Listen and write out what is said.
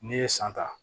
N'i ye san ta